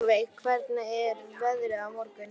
Solveig, hvernig er veðrið á morgun?